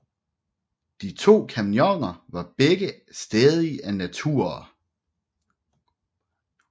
De to kompagnoner vare begge stædige naturer